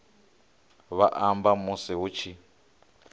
vha amba musi hu tshi